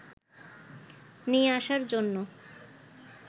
নিয়ে আসার জন্য